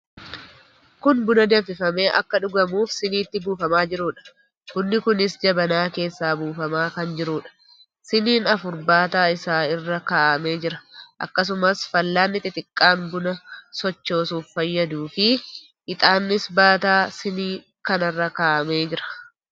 Kun buna danfifamee akka dhugamuuf siniitti buufamaa jiruudha. Bunni kunis jabanaa keessaa buufamaa kan jiruudha. Siniin afur baataa isaa irra kaa'amee jira. Akkasumas, fal'aanni xixiqqaan buna sochoosuuf fayyaduufi ixaannis baataa sinii kanarra kaa'amee jira.